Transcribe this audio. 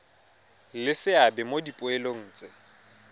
le seabe mo dipoelong tse